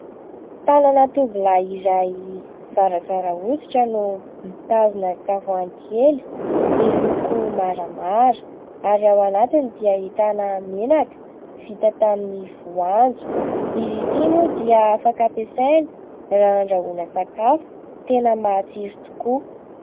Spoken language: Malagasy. Tanana tovolahy iray zarazara hoditra no mitazona tavoahangy kely, miloko maramara, ary ao anatiny dia ahitana menaka vita tamin'ny voanjo. Izy ity moa dia afaka ampiasaina raha handrahoana sakafo, tena matsiro tokoa.